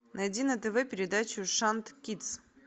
найди на тв передачу шант кидс